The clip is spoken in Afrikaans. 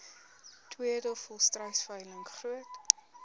tweede volstruisveiling groot